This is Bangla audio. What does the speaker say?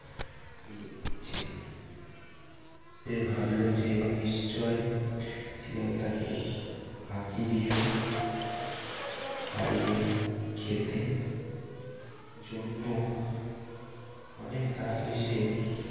সে ভাবল যে নিশ্চয় শিয়াল তাকে ফাঁকি দিয়ে হারিয়ে খেতে জন্য অনেক তাড়াতাড়ি সে